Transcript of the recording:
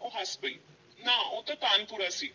ਉਹ ਹੱਸ ਪਈ ਨਾ ਉਹ ਤਾਂ ਤਾਨਪੁਰਾ ਸੀ।